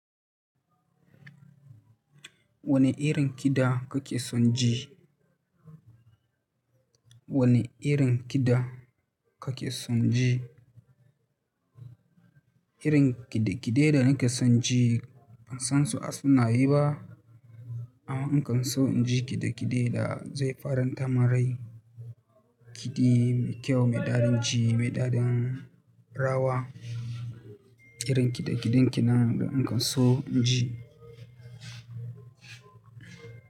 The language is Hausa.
Wane irin kiɗa kake son ji? Wane irin kiɗa kake son ji? Irin kiɗe-kiɗe da nake son ji ban san su a sunaye ba, amma in kan so in ji kiɗe-kiɗe da zai fara tamin rai, kiɗi mai kyau, mai dadin ji, mai daren rawa, irin kiɗe-kiɗen ki nan da in kan so in ji.